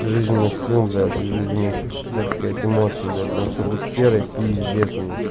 жизненных сил блять и жизненных так сказать эмоций бля потому что все будет серой пиздец у нее